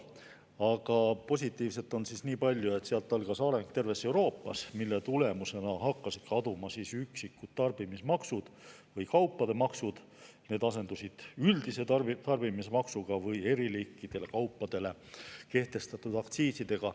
Aga positiivset oli selles nii palju, et sealt algas terves Euroopas areng, mille tulemusena hakkasid kaduma üksikud tarbimismaksud või kaupade maksud, need asendusid üldise tarbimismaksuga või eri liiki kaupadele kehtestatud aktsiisidega.